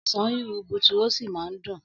Ọ̀sán rí rubutu ó sì máa ń dùn.